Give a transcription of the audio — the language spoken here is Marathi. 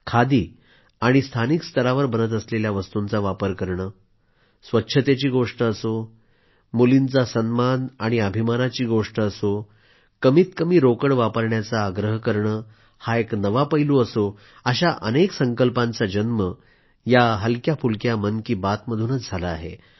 खादी आणि स्थानिक स्तरावर बनत असलेल्या वस्तूंचा वापर करणे स्वच्छतेची गोष्ट असो कन्यावर्गाचा सन्मान आणि अभिमानाची गोष्ट असो कमीत कमी रोकड वापरण्याचा आग्रह करणे हा एक नवा पैलू असो अशा अनेक संकल्पांचा जन्म या हलक्याफुलक्या मन की बात मधून झाला आहे